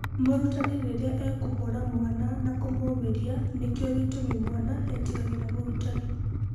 Mũrutani rĩrĩa ekũhũra mwana na kũmũũmĩria nĩkĩo gĩtũmi mwana etigagĩra mũrutani.